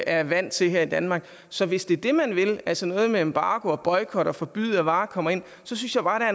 er vant til her i danmark så hvis det er det man vil altså noget med embargo og boykot og forbud mod at varer kommer ind synes jeg bare der